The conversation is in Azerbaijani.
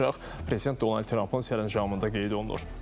Prezident Donald Trampın sərəncamında qeyd olunur.